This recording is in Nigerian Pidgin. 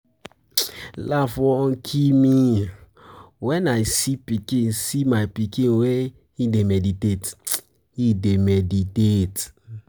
Laugh wan kill me wen I see my pikin where he dey meditate.